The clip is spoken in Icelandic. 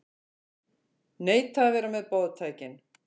Neita að vera með boðtækin